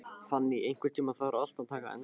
Fanný, einhvern tímann þarf allt að taka enda.